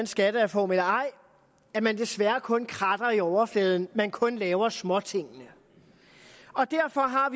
skattereform eller ej at man desværre kun kratter i overfladen at man kun laver småtingene derfor har